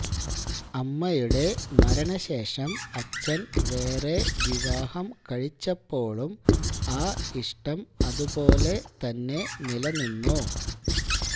അമ്മയുടെ മരണശേഷം അച്ഛന് വേറെ വിവാഹം കഴിച്ചപ്പോഴും ആ ഇഷ്ടം അതുപോലെ താനെ നിലനിന്നു